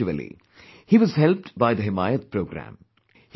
Eventually, he was helped by the 'Himayat Programme'